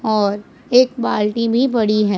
और एक बाल्टी भी बड़ी है।